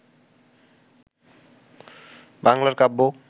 বাঙলার কাব্য